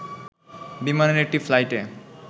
বিমানের একটি ফ্লাইটে